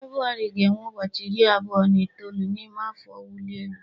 Febụwarị ga-enwe ụbọchị iri abụọ na itoolu n'ime afọ ọwụli elu